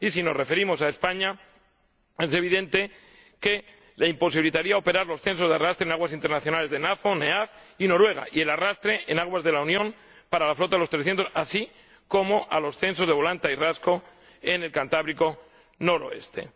y, si nos referimos a España, es evidente que imposibilitaría operar a los censos de arrastre en aguas internacionales de la NAFO, la NEAFC y Noruega y el arrastre en aguas de la Unión para la flota de los 300, así como a los censos de volanta y rasco en el Cantábrico noroccidental.